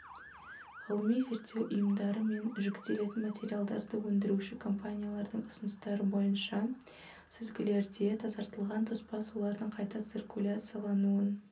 ғылыми-зерттеу ұйымдары мен жүктелетін материалдарды өндіруші компаниялардың ұсыныстары бойынша сүзгілерде тазартылған тоспа сулардың қайта циркуляциянуын